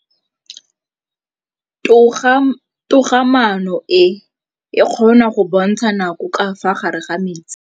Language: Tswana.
Toga-maanô e, e kgona go bontsha nakô ka fa gare ga metsi.